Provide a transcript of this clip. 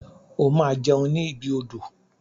O ma jẹun ni ibi odò.